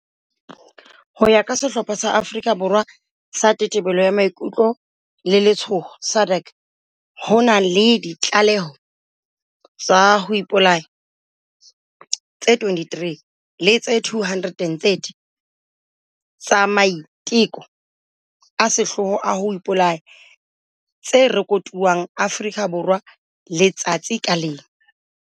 Ho ya ka sehlopha sa Afrika Borwa sa Tetebelo ya Maikutlo le Letshoho, SADAG, ho na le ditlaleho tsa ho ipolaya tse 23 le tse 230 tsa maiteko a sehloho a ho ipolaya tse rekotuweng Afrika Borwa letsatsi ka leng.